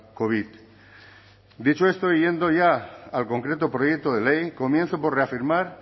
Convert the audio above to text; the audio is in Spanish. covid dicho esto y yendo ya al concreto proyecto de ley comienzo por reafirmar